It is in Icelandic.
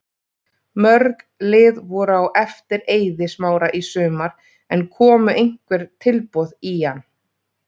Mörg lið voru á eftir Eiði Smára í sumar en komu einhver tilboð í hann?